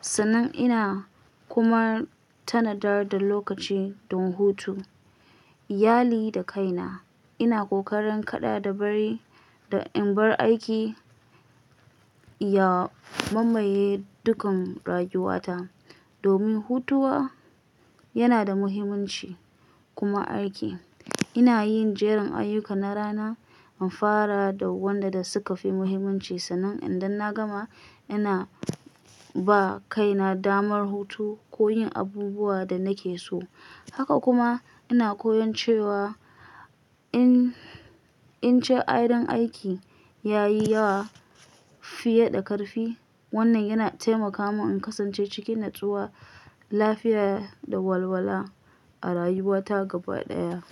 sannan ina kuma tanadar da lokaci don hutu, iyali da kaina. Ina kokarin kada da in bar aiki ya mamaye dukkan rayuwata, domin hutawa yana da muhimmanci kuma a aiki. Ina yin jerin ayyuka na rana in fara da waɗanda suka fi muhimmanci, sannan idan na gama, ina ba kaina damar hutu ko yin abubuwan da nake so. Haka kuma ina koyon cewa in ce adon aiki yayi yawa fiye da karfi. Wannan yana taimaka mun in kasance cikin natsuwa, lafiya da walwala a rayuwata gaba ɗaya.